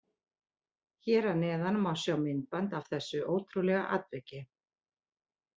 Hér að neðan má sjá myndband af þessu ótrúlega atviki.